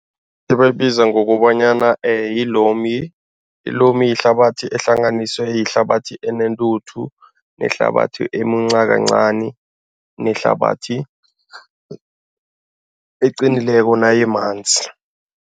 Ebayibiza ngokobanyana yi-loamy. I-loamy yihlabathi ehlanganiswe yihlabathi enentuthu nehlabathi emunca kancani nehlabathi eqinileko nayimanzi.